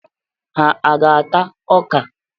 Ha aga-ata ọka?